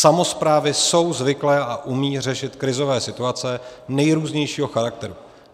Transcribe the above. Samosprávy jsou zvyklé a umějí řešit krizové situace nejrůznějšího charakteru.